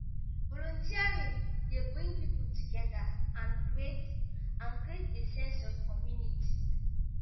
volunteering dey bring people together and create and create a sense of community.